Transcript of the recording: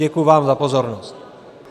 Děkuji vám za pozornost.